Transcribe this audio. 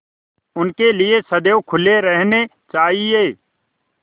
उनके लिए सदैव खुले रहने चाहिए